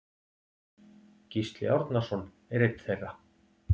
Gísli Árnason er einn þeirra.